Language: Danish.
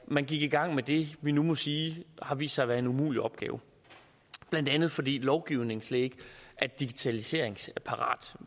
man gik i gang med det vi nu må sige har vist sig at være en umulig opgave blandt andet fordi lovgivningen slet ikke er digitaliseringsparat